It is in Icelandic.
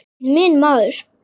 Þú ert minn maður.